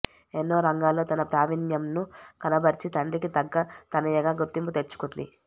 ఎన్నో రంగాల్లో తన ప్రావిణ్యంను కనబర్చి తండ్రికి తగ్గ తనయగా గుర్తింపు తెచ్చుకుంది